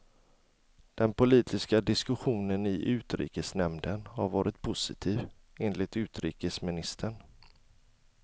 Den politiska diskussionen i utrikesnämnden har varit positiv, enligt utrikesministern.